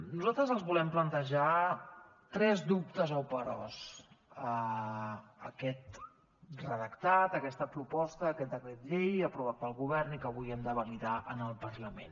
nosaltres els volem plantejar tres dubtes o peròs a aquest redactat a aquesta proposta a aquest decret llei aprovat pel govern i que avui hem de validar en el parlament